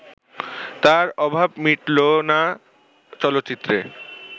তার অভাব মিটলো না চলচ্চিত্রে